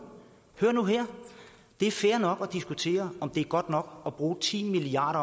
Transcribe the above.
hør nu her det er fair nok at diskutere om det er godt nok at bruge ti milliard